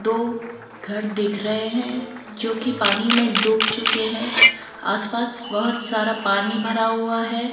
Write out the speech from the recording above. दो घर दिख रहे हैं जो की पानी में डूब चुके हैं आसपास बहुत सारा पानी भरा हुआ है।